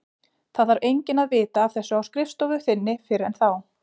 Það þarf enginn að vita af þessu á skrifstofu þinni fyrr en þá.